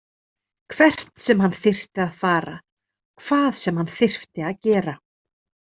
Hvert sem hann þyrfi að fara, hvað sem hann þyrfti að gera.